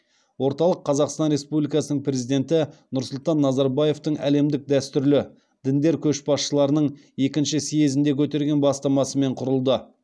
орталық қазақстан республикасының президенті нұрсұлтан назарбаевтың әлемдік дәстүрлі діндер көшбасшыларының екінші съезінде көтерген бастамасымен құрылды